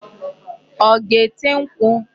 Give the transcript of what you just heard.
Ọ ga-ete nkwụ?